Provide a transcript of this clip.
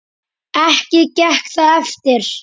Ekki gekk það eftir.